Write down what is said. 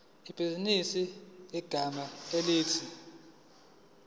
ibhizinisi ngegama elithi